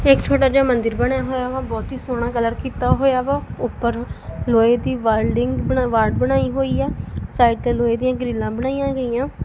ਇੱਕ ਛੋਟਾ ਜਿਹਾ ਮੰਦਿਰ ਬਣਿਆ ਹੋਇਆ ਵਾ ਬਹੁਤ ਹੀ ਸੋਹਣਾ ਕਲਰ ਕੀਤਾ ਹੋਇਆ ਵਾ ਉਪਰ ਲੋਹੇ ਦੀ ਵੈਲਡਿੰਗ ਬਣਾ ਵਾੜ ਬਣਾਈ ਹੋਇਆ ਸਾਈਡ ਤੇ ਲੋਹੇ ਦੀਆ ਗ੍ਰਿਲਾਂ ਬਣਾਈਆਂ ਗਈਆਂ।